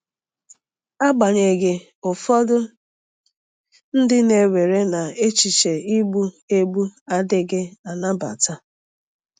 Agbanyeghị, ụfọdụ ndị na-ewere na echiche igbu egbu adịghị anabata.